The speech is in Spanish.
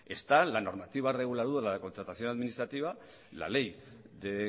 está la normativa reguladora de la contratación administrativa la ley de